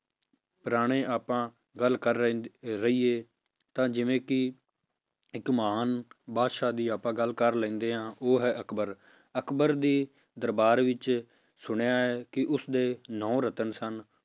ਪੁਰਾਣੇ ਆਪਾਂ ਗੱਲ ਕਰ ਰਹੇ ਰਹੀਏ ਤਾਂ ਜਿਵੇਂ ਕਿ ਇੱਕ ਮਹਾਨ ਬਾਦਸ਼ਾਹ ਦੀ ਆਪਾਂ ਗੱਲ ਕਰ ਲੈਂਦੇ ਹਾਂ ਉਹ ਹੈ ਅਕਬਰ ਅਕਬਰ ਦੇ ਦਰਬਾਰ ਵਿੱਚ ਸੁਣਿਆ ਹੈ ਕਿ ਉਸਦੇ ਨੋਂ ਰਤਨ ਸਨ,